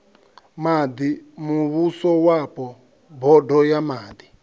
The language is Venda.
maḓi muvhusowapo bodo ya maḓi